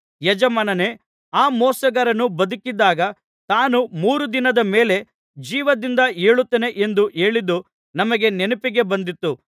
ಯಜಮಾನನೇ ಆ ಮೋಸಗಾರನು ಬದುಕಿದ್ದಾಗ ತಾನು ಮೂರು ದಿನದ ಮೇಲೆ ಜೀವದಿಂದ ಏಳುತ್ತೇನೆ ಎಂದು ಹೇಳಿದ್ದು ನಮ್ಮ ನೆನಪಿಗೆ ಬಂದಿತು